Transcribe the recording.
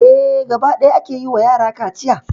Eh, gaba ɗaya a ke yi ma yara kaciya.